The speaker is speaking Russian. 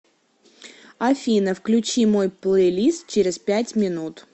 афина включи мой плейлист через пять минут